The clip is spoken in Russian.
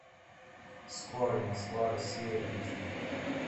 скорый москва россия эйч ди